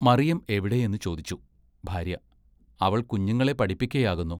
മറിയം എവിടേ എന്നു ചോദിച്ചു, ഭാര്യ, അവൾ കുഞ്ഞുങ്ങളെ പഠിപ്പിക്കയാകുന്നു.